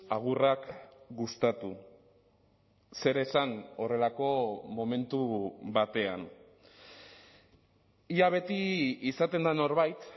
agurrak gustatu zer esan horrelako momentu batean ia beti izaten da norbait